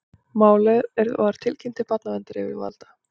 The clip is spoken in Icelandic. Málið var tilkynnt til barnaverndaryfirvalda